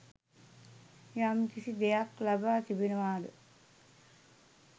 යම්කිසි දෙයක් ලබා තිබෙනවාද